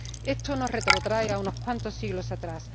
Esto nos retrotrae a unos cuantos siglos atrás.